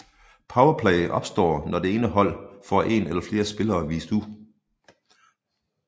Powerplay opstår når det ene hold får en eller flere spillere vist ud